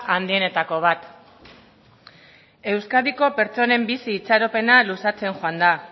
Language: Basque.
handienetako bat euskadiko pertsonen bizi itxaropena luzatzen joan da